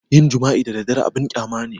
Yin jima'i da dabba abun ƙyama ne